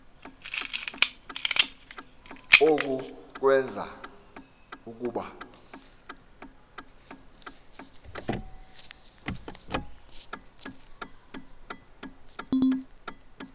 oku kwenza ukuba